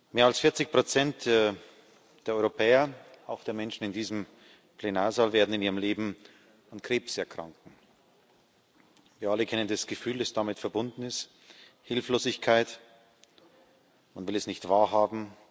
Mehr als 40 der Europäer auch der Menschen in diesem Plenarsaal werden in ihrem Leben an Krebs erkranken. Wir alle kennen das Gefühl, das damit verbunden ist Hilflosigkeit, man will es nicht wahrhaben.